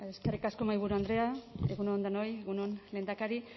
eskerrik asko mahaiburu andrea egun on denoi egun on lehendakari